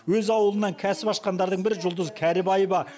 өз ауылынан кәсіп ашқандардың бірі жұлдыз кәрібаева